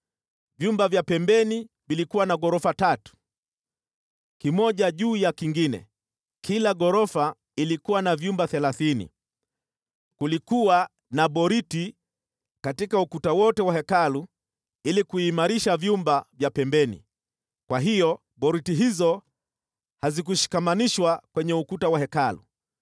Vyumba vya pembeni vilikuwa na ghorofa tatu, kimoja juu ya kingine, kila ghorofa ilikuwa na vyumba thelathini. Kulikuwa na boriti katika ukuta wote wa Hekalu ili kuimarisha vyumba vya pembeni, kwa hiyo boriti hizo hazikushikamanishwa kwenye ukuta wa Hekalu.